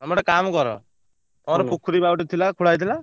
ତମେ ଗୋଟେ କାମ କର ତମର ପୋଖରୀ ବା ଗୋଟେ ଥିଲା ଖୋଳା ହେଇଥିଲା।